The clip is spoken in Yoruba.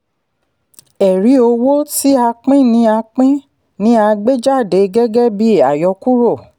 ẹ̀rí owó tí a pín ni a pín ni a gbé jáde gẹ́gẹ́ bí àyọkúrò.